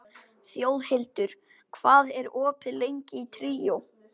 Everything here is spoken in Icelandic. Þjóðhildur, hvað er opið lengi í Tríó?